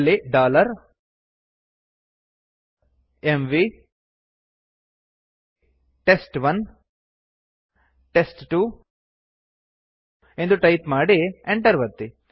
ಅಲ್ಲಿ mv test one test two ಎಂದು type ಮಾಡಿ enter ಒತ್ತಿ